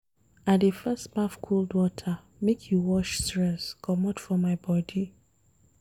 I dey first baff cold water make e wash stress comot for my bodi.